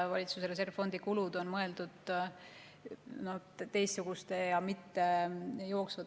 Valitsuse reservfond on mõeldud teistsuguste, mitte jooksvate kulude katmiseks.